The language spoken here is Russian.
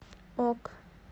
ок